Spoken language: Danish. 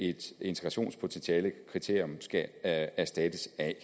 et integrationspotentialekriterium skal erstattes af